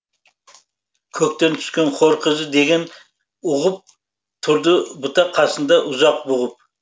көктен түскен хор қызы деп ұғып тұрды бұта қасында ұзақ бұғып